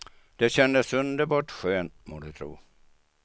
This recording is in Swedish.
Det kändes underbart skönt, må du tro.